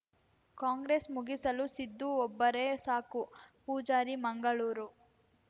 ಕಾಂಗ್ರೆಸ್‌ ಮುಗಿಸಲು ಸಿದ್ದು ಒಬ್ಬರೇ ಸಾಕು ಪೂಜಾರಿ ಮಂಗಳೂರು